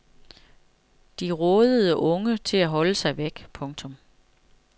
De rådede unge til at holde sig væk. punktum